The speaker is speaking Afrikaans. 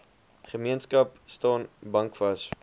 gemeenskap staan bankvas